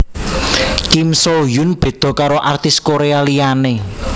Kim Soo Hyun beda karo artis Korea liyane